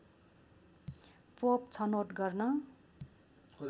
pope छनौट गर्न